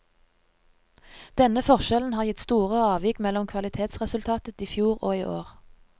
Denne forskjellen har gitt store avvik mellom kvalitetsresultatet i fjor og i år.